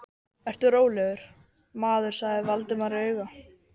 Vertu rólegur, maður sagði Valdimar og auga